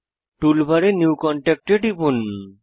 টুলবারে new contact এ টিপুন